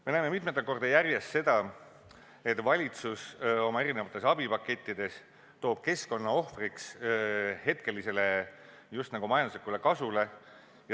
Me näeme mitmendat korda järjest seda, et valitsus oma eri abipakettides toob keskkonna ohvriks hetkelisele just nagu majanduslikule kasule.